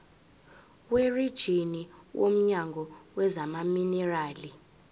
werijini womnyango wezamaminerali